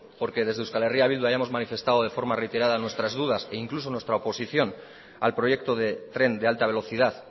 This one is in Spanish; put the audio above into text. porque desde eh bildu hayamos manifestado de forma reiterada nuestras dudas e incluso nuestra oposición al proyecto del tren de alta velocidad